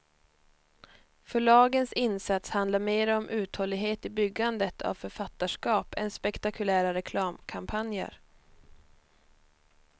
Förlagens insats handlar mera om uthållighet i byggandet av författarskap än spektakulära reklamkampanjer.